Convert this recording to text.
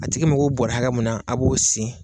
A tigi mago bɔrɛ ha hakɛ mun na a b'o sin